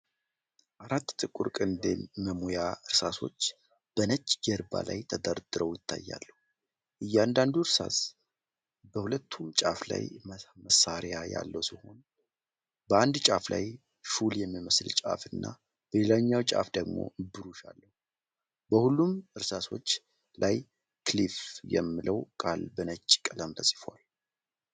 አራት ጥቁር ቅንድብ መሙያ እርሳሶች በነጭ ጀርባ ላይ ተደርድረው ይታያሉ። እያንዳንዱ እርሳስ በሁለቱም ጫፍ ላይ መሣሪያ ያለው ሲሆን፣ በአንዱ ጫፍ ላይ ሹል የሚመስል ጫፍ እና በሌላኛው ጫፍ ደግሞ ብሩሽ አለው። በሁሉም እርሳሶች ላይ'KILLFE' የሚለው ቃል በነጭ ቀለም ተጽፏል።